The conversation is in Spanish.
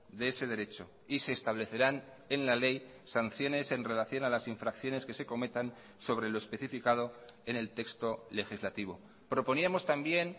de ese derecho y se establecerán en la ley sanciones en relación a las infracciones que se cometan sobre lo especificado en el texto legislativo proponíamos también